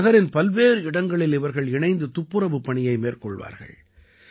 நகரின் பல்வேறு இடங்களில் இவர்கள் இணைந்து துப்புரவுப் பணியை மேற்கொள்வார்கள்